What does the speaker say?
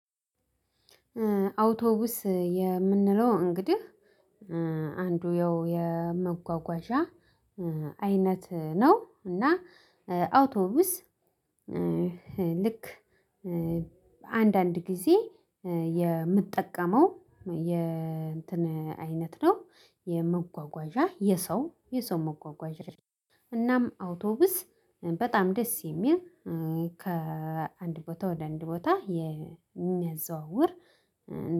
አውቶቡስ የምንለው እንግዲህ አንዱ ያው የመጓጓዣ አይነት ነው እና አውቶቢስ። ልክ አንዳንድ ጊዜ የምጠቀመው አይነት ነው። የመጓጓዣ የሰው መጓጓዣዎችን እናም አውቶቢስ በጣም ደስ የሚል ከአንድ ቦታ ወደ አንድ ቦታ የሚያዘዋውር